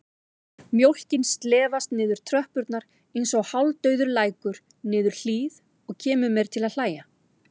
Mjólkin slefast niður tröppurnar einsog hálfdauður lækur niður hlíð og kemur mér til að hlæja.